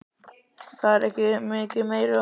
Það er ekki mikið meiru að fórna.